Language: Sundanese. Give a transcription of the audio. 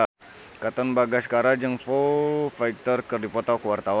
Katon Bagaskara jeung Foo Fighter keur dipoto ku wartawan